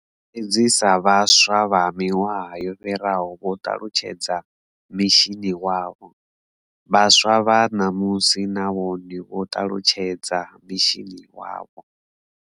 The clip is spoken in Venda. Fhedzi sa vhaswa vha miṅwaha yo fhiraho vho ṱalutshedza mishini wavho, vhaswa vha ṋamusi na vhone vho ṱalutshedza mishini wavho.